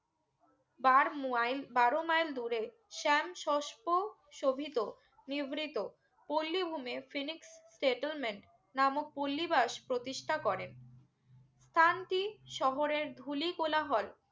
বার মুয়াইন বারো মাইল দূরে সেম সোস্প সবিত নিব্রিত পল্লি ভুমের phoenix settlement নামক পল্লি বাস প্রতিষ্ঠা করেন স্থান টি শহরের ধুলি কলাহর